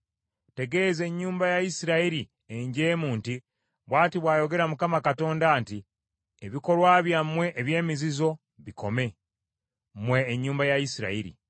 Tegeeza ennyumba ya Isirayiri enjeemu nti, ‘Bw’ati bw’ayogera Mukama Katonda nti; ebikolwa byammwe eby’emizizo bikome, mmwe ennyumba ya Isirayiri.’